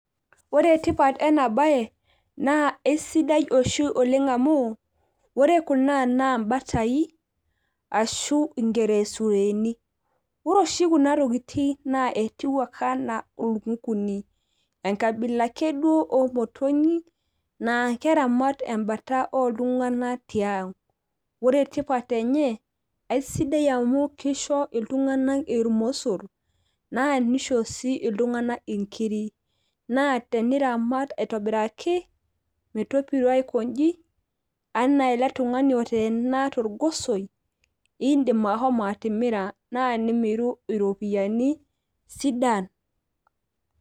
Ore etipat enabae naa esidai oshi oleng amu ore kuna na batai ashu ingelesureni ,ore oshi kunatokitin etiu anaa nkukui, enkabila ake omotonyi na keramat ltunganak tiang ore tipat enye kesidai amu kisho ltunganak irmosor na nisho sii ltunganak nkirik na teniramat aitobiraki metopiro aiko nji anaa eletungani oteena torgosoi, indim ashomo atimira na nimiru ropiyani sidan.